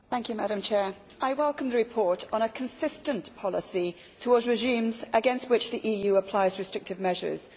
Madam President, I welcome the report on a consistent policy towards regimes against which the EU applies restrictive measures.